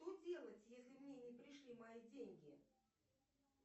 что делать если мне не пришли мои деньги